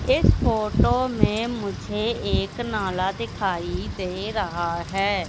इस फोटो में मुझे एक नाला दिखाई दे रहा है।